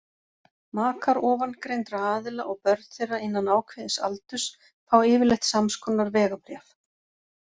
Makar ofangreindra aðila og börn þeirra innan ákveðins aldurs fá yfirleitt samskonar vegabréf.